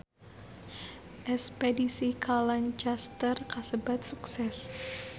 Espedisi ka Lancaster kasebat sukses